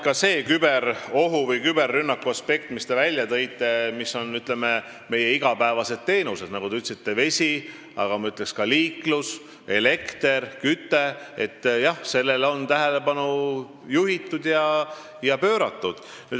Ka sellele küberohu või küberrünnaku aspektile, millest te rääkisite ja mis puudutab meie igapäevaseid teenuseid – te ütlesite vesi, aga ma ütleksin ka liiklus, elekter ja küte –, on tähelepanu juhitud ja pööratud.